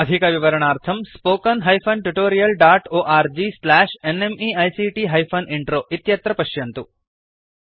अधिकविवरणार्थं spoken hyphen tutorial dot org slash NMEICT hyphen intro इत्यत्र पश्यन्तु